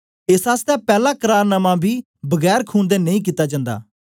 एस आसतै पैला करार नामां बी बगैर खून दे नेई कित्ता जन्दा